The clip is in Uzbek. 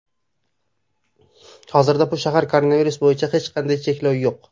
Hozirda bu shaharda koronavirus bo‘yicha hech qanday cheklov yo‘q.